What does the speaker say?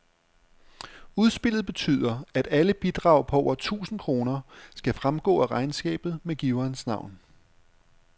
Udspillet betyder, at alle bidrag på over tusind kroner skal fremgå af regnskabet med giverens navn.